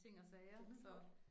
Kan man godt